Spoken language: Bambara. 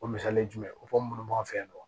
O misali ye jumɛn ye o ko minnu b'an fɛ yan nɔ